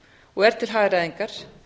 og er til hagræðingar